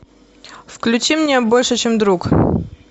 включи мне больше чем друг